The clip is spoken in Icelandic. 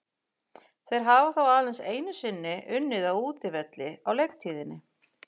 Þeir hafa þó aðeins einu sinni unnið á útivelli á leiktíðinni.